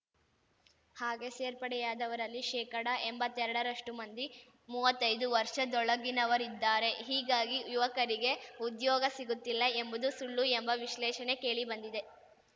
ಹಾಗೆ ಸೇರ್ಪಡೆಯಾದವರಲ್ಲಿ ಶೇಕಡಎಂಬತ್ತೆರಡರಷ್ಟುಮಂದಿ ಮುವ್ವತ್ತೈದು ವರ್ಷದೊಳಗಿನವರಿದ್ದಾರೆ ಹೀಗಾಗಿ ಯುವಕರಿಗೆ ಉದ್ಯೋಗ ಸಿಗುತ್ತಿಲ್ಲ ಎಂಬುದು ಸುಳ್ಳು ಎಂಬ ವಿಶ್ಲೇಷಣೆ ಕೇಳಿಬಂದಿದೆ